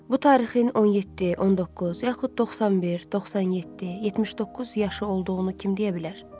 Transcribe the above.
Bu tarixin 17, 19, yaxud 91, 97, 79 yaşı olduğunu kim deyə bilər?